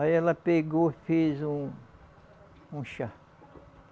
Aí ela pegou e fez um um chá.